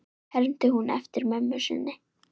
hermdi hún eftir mömmu sinni.